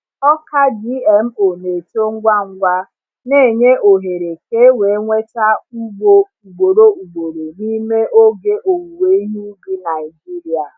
Ọka GMO na-eto ngwa ngwa, na-enye ohere ka e wee nweta ugbo ugboro ugboro n’ime oge owuwe ihe ubi Naijiria.